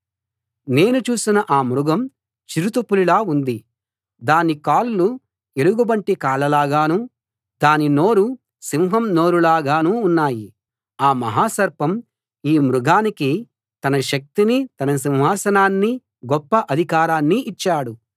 నేను చూసిన ఆ మృగం చిరుత పులిలా ఉంది దాని కాళ్ళు ఎలుగుబంటి కాళ్ళలాగానూ దాని నోరు సింహం నోరులాగానూ ఉన్నాయి ఆ మహాసర్పం ఈ మృగానికి తన శక్తినీ తన సింహాసనాన్నీ గొప్ప అధికారాన్నీ ఇచ్చాడు